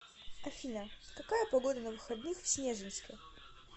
афина какая погода на выходных в снежинске